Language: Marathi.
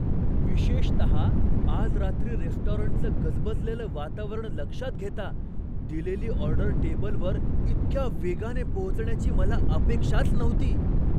विशेषतः आज रात्री रेस्टॉरंटचं गजबजलेलं वातावरण लक्षात घेता, दिलेली ऑर्डर टेबलवर इतक्या वेगाने पोहोचण्याची मला अपेक्षाच नव्हती.